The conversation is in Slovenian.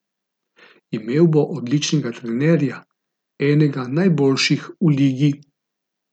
Imel bo odličnega trenerja, enega najboljših v ligi.